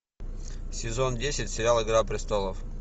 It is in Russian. сезон десять сериал игра престолов